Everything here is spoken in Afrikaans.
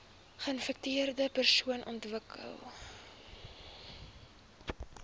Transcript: geinfekteerde persone ontwikkel